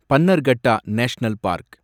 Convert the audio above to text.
Bannerghatta national park